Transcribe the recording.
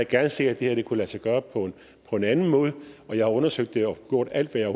gerne set at det her kunne lade sig gøre på en anden måde og jeg har undersøgt det og gjort alt hvad jeg